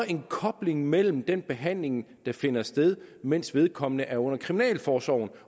en kobling mellem den behandling der finder sted mens vedkommende er under kriminalforsorgen